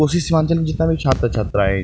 कोसी सीमांचल में जितना भी छात्र-छात्राए --